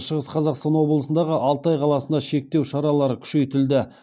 шығыс қазақстан облысындағы алтай қаласында шектеу шаралары күшейтілді